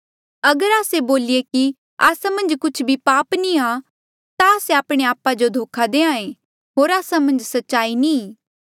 अगर आस्से बोलीए कि आस्सा मन्झ कुछ भी पाप नी आ ता आस्से आपणे आपा जो धोखा देहां ऐं होर आस्सा मन्झ सच्चाई नी ई